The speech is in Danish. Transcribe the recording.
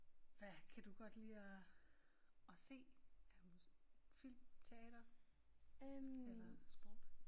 Hvad kan du godt lide at at se er du film teater eller sport